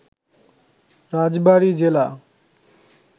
রাজবাড়ি জেলা